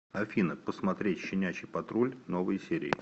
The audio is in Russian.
афина посмотреть щенячий патруль новые серии